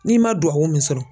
N'i ma duwawu min sɔrɔ